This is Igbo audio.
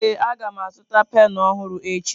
Ee a ga m azụta penụ ọhụrụ echi.